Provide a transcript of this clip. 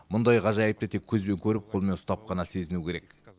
мұндай ғажайыпты тек көзбен көріп қолмен ұстап қана сезіну керек